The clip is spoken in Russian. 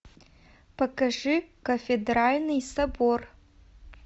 покажи кафедральный собор